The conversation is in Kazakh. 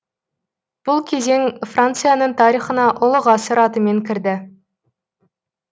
бұл кезең францияның тарихына ұлы ғасыр атымен кірді